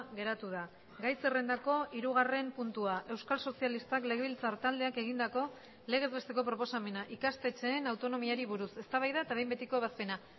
geratu da gai zerrendako hirugarren puntua euskal sozialistak legebiltzar taldeak egindako legez besteko proposamena ikastetxeen autonomiari buruz eztabaida eta behin betiko ebazpena